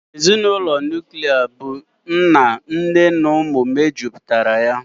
Ezinụlọ nuklia bụ nna, nne na ụmụ mejupụtara